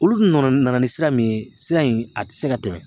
Olu dun nana nana ni sira min ye sira in a ti se ka tɛmɛ